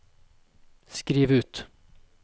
skriv ut